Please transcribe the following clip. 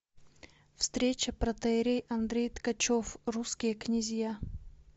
встреча протоиерей андрей ткачев русские князья